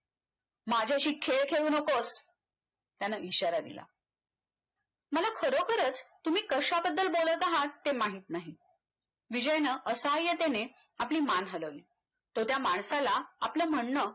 माझ्याशी खेळ खेळू नकोस त्यानं इशारा दिला मला खरोखरच तुम्ही कशाबद्दल बोलत आहात ते माहित नाही विजयनं असहाय्यतेने आपली मान हलवली तो त्या माणसाला आपलं म्हणणं